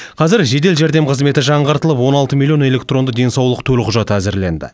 қазіргі жедел жәрдем қызметі жаңғыртылып он алты миллион электронды денсаулық төлқұжаты әзірленді